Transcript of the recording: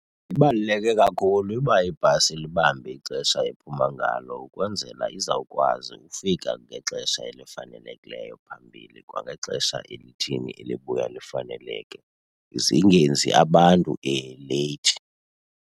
Ibaluleke kakhulu uba ibhasi ilibambe ixesha ephuma ngalo ukwenzela izawukwazi ukufika ngexesha elifanelekileyo phambili kwangexesha elithini elibuya lifaneleke, zingenzi abantu leyithi.